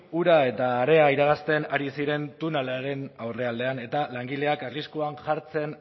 ura eta harea irabazten ari ziren tunelaren aurrealdean eta langileak arriskuan jartzen